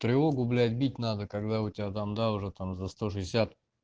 тревогу блять бить надо когда у тебя там да уже там за сто шестьдесят